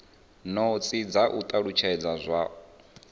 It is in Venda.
notsi dza u talutshedza zwo